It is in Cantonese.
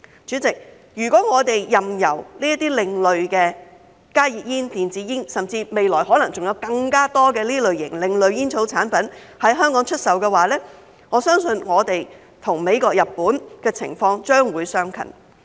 主席，如果我們任由這些另類的加熱煙、電子煙，甚至未來可能還有更多另類煙草產品在香港出售，我相信本港與美國和日本的情況將會相近。